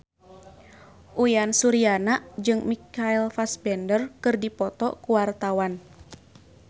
Uyan Suryana jeung Michael Fassbender keur dipoto ku wartawan